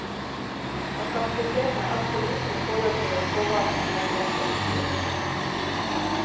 At kapasiteten er altfor liten i forhold til den pågangen av pasienter som finnes.